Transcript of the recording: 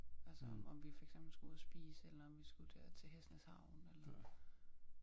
Altså om vi for eksempel skulle ud og spise eller om vi tage til Hesnæs havn eller